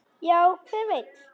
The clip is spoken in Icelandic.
Já, hver veit?